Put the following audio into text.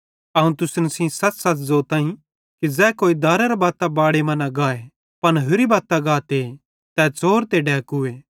अवं तुसन सेइं सच़सच़ ज़ोताईं कि ज़ै कोई दारेरे बत्तां बाड़े मां न गाए पन होरि बत्तां गाते तै च़ोर ते डैकूए